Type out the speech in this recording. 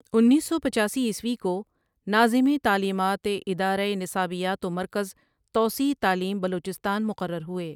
انیس سو پچاسی عیسوی کو ناظم تعلیمات ادارہ نصابیات و مرکز توسیع تعلیم بلوچستان مقرر ہوئے۔